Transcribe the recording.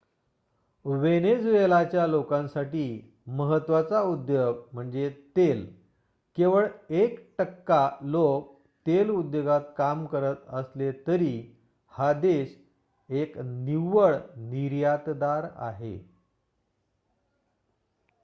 वेनेझुएलाच्या लोकांसाठी महत्वाचा उद्योग म्हणजे तेल केवळ एक टक्का लोक तेल उद्योगात काम करत असले तरी हा देश एक निव्वळ निर्यातदार आहे